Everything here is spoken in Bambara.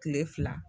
Kile fila